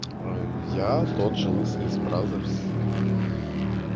я тот же лысый из бразерс